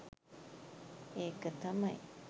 ඒක තමයි